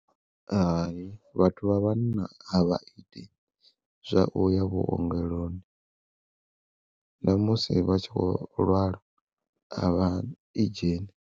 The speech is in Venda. Hai vhathu vha vhanna a vha iti zwa uya vhuongeloni, namusi vhatshi kho lwala avha i dzheni.